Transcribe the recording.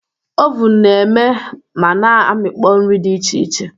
Ovun na-eme ma na amịkpọ nri dị iche iche.